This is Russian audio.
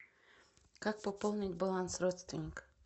как пополнить баланс родственника